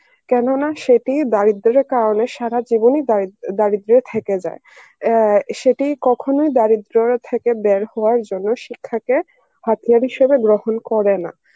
কেননা সেটি দারিদ্রের কারণে সারা জীবনই দারিদ্র~ দারিদ্রে থেকে যায় এ সেটি কখনোই দারিদ্র থেকে বের হওয়ার জন্য শিক্ষাকে হিসাবে গ্রহণ করে না